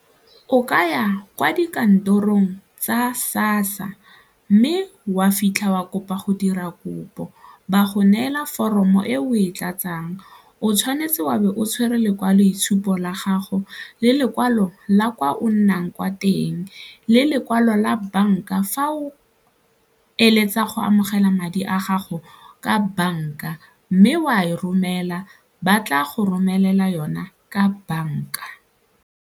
O ka ya kwa dikantorong tsa SASSA mme wa fitlha wa kopa go dira kopo, ba go neela foromo e o e tlatsang o tshwanetse wa be o tshwere lekwaloitshupo la gago le lekwalo la kwa o nnang kwa teng, le lekwalo la banka fa o eletsa go amogela madi a gago ka banka mme o a e romela ba tla go romelela yona ka banka.